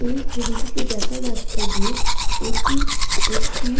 এই ছবিটিতে দেখা যাচ্ছে যে এটি একটি--